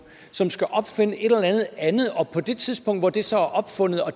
som skal opfinde et eller andet andet og på det tidspunkt hvor det så er opfundet og